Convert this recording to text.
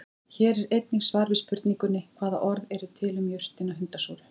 Hér er einnig svar við spurningunni: Hvaða orð eru til um jurtina hundasúru?